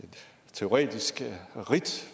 teoretisk ridt